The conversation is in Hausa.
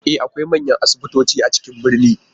E! akwai manyan asibitoci a cikin birni.